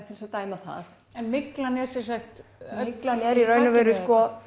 til að dæma það myglan er myglan er í raun og veru